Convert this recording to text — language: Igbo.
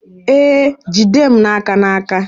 Ee, jide m aka n'aka